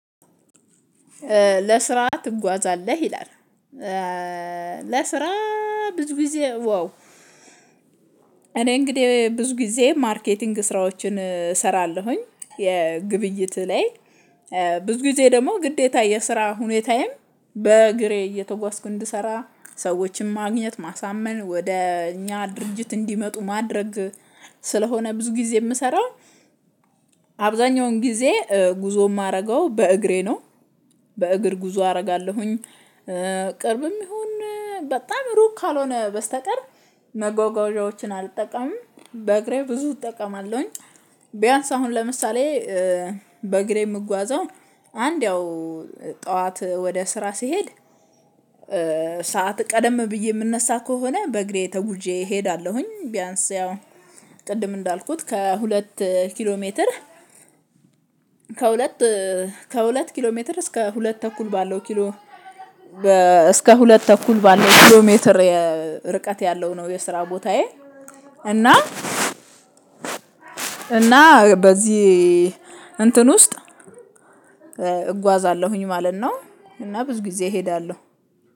ለስራ ትጓዛለህ? ይላል። ለስራ ብዙ ጊዜ ዋው እኔ እንግዲህ ብዙ ጊዜ ማርኬቲንግ ስራዎችን እሰራለሁኝ። የግብይት ላይ ብዙ ጊዜ ደግሞ ግዴታ የስራ ሁኔታዬም በእግሬ እየተጓዝኩ እንድሰራ ሰዎችን ማግኘት ማሳመን ወደ እኛ ድርጅት እንዲመጡ ማድረግ ስለሆነ ብዙ ጊዜ የምሰራው አብዛኛውን ጊዜ ጉዞ የማደርገው በእግሬ ነው በእግር ጉዞ አደርጋለሁኝ። ቅርብም ይሁን በጣም ሩቅ ካልሆነ በስተቀር መጓጓዣዎችን አልጠቀምም። በእግሬ ብዙ እጠቀማለሁኝ። ቢያንስ አሁን ለምሳሌ በእግሬ የምጓዘው አንድ ያው ጠዋት ወደ ስራ ስሄድ ሰዓት ቀደም ብዬ የምነሳ ከሆነ በእግሬ ተጉዤ እሄዳለሁኝ። ቢያንስ ያው ቅድም እንዳልኩት ከሁለት ኪሎ ሜትር ከሁለት ከሁለት ኪሎ ሜትር እስከ ሁለት ተኩል ባለው ኪሎ እስከ ሁለት ተኩል ባለው ኪሎ ሜትር ርቀት ያለው ነው የስራ ቦታዬ እና እና በዚህ እንትን ውስጥ እጓዛለሁኝ ማለት ነው እና ብዙ ጊዜ እሄዳለሁ።